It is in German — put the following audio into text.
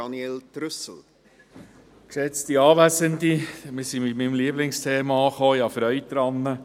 Wir sind bei meinem Lieblingsthema angekommen, ich habe Freude daran.